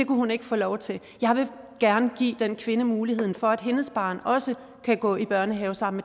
hun ikke få lov til jeg vil gerne give den kvinde muligheden for at hendes barn også kan gå i børnehave sammen